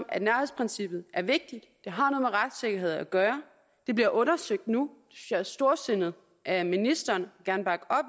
at nærhedsprincippet er vigtigt det har noget med retssikkerhed at gøre det bliver undersøgt nu og er storsindet af ministeren